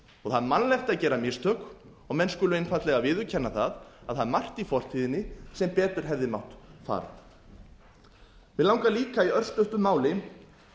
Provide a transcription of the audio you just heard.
það er mannlegt að gera mistök og menn skulu einfaldlega viðurkenna að það er margt í fortíðinni sem betur hefði mátt fara mig langar líka í örstuttu máli